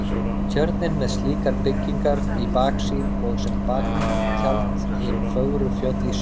Tjörnina með slíkar byggingar í baksýn og sem baktjald hin fögru fjöll í suðurátt.